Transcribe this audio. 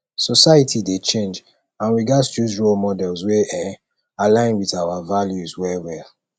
society dey change and we gatz choose role models wey um align with our values um